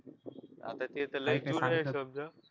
आता ते तर लयी दूर आहे